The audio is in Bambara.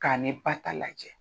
K'a nei ba ta lajɛ